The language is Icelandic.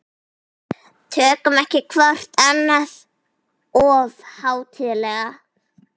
Tökum ekki hvort annað of hátíðlega.